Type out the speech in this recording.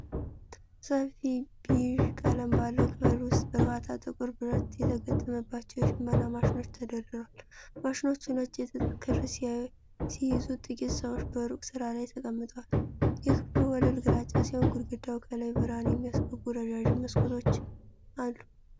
ሰፊ ቢዥ ቀለም ባለው ክፍል ውስጥ በርካታ ጥቁር ብረት የተገጠመባቸው የሽመና ማሽኖች ተደርድረዋል። ማሽኖቹ ነጭ የጥጥ ክር ሲይዙ፣ ጥቂት ሰዎች በሩቅ ስራ ላይ ተቀምጠዋል። የክፍሉ ወለል ግራጫ ሲሆን፣ ግድግዳው ከላይ ብርሃን የሚያስገቡ ረዣዥም መስኮቶች አሉ።